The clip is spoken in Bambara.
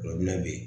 bɛ yen